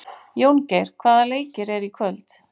Jóngeir, hvaða leikir eru í kvöld?